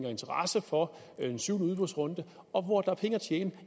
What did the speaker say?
og interesse for den syvende udbudsrunde og hvor der er penge at tjene